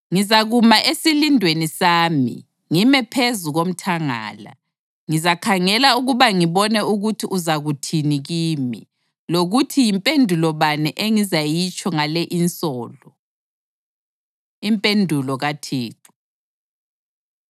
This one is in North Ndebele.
Ngizakuma esilindweni sami ngime phezu komthangala; ngizakhangela ukuba ngibone ukuthi uzakuthini kimi, lokuthi yimpendulo bani engizayitsho ngale insolo. Impendulo KaThixo